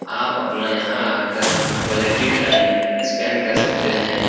आप अपना यहाँ आकर क्वालिटी टाइम स्पेंड कर सकते हैं।